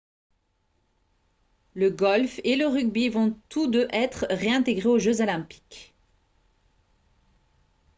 le golf et le rugby vont tous deux être réintégrés aux jeux olympiques